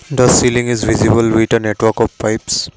the ceiling is visible with a network of pipes.